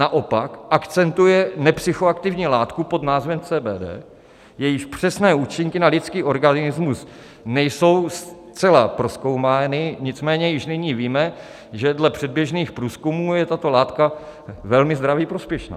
Naopak akcentuje nepsychoaktivní látku pod názvem CBD, jejíž přesné účinky na lidský organismus nejsou zcela prozkoumány, nicméně již nyní víme, že dle předběžných průzkumů je tato látka velmi zdraví prospěšná.